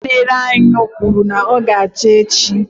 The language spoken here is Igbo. Onye na-ere anyụ kwuru na ọ ga-acha n'echi.